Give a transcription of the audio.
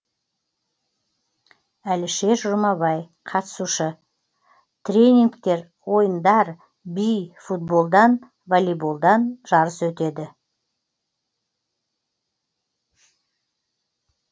әлішер жұмабай қатысушы тренингтер ойындар би футболдан волейболдан жарыс өтеді